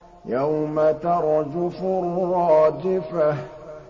يَوْمَ تَرْجُفُ الرَّاجِفَةُ